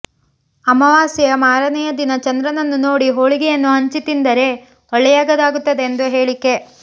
ಅಮಾವಾಸ್ಯೆಯ ಮಾರನೆಯ ದಿನ ಚಂದ್ರನನ್ನು ನೋಡಿ ಹೋಳಿಗೆಯನ್ನು ಹಂಚಿ ತಿಂದರೆ ಒಳ್ಳೆಯದಾಗುತ್ತದೆಂದು ಹೇಳಿಕೆ